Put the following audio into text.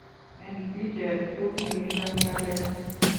En bicheet kou niton ng'alek